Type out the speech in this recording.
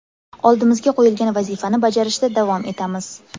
Oldimizga qo‘yilgan vazifani bajarishda davom etamiz.